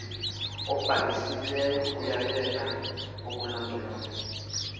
ubhalisileyo uyayeka ukulondoloza